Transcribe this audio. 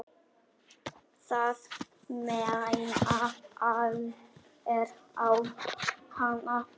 Það mæna allir á hana.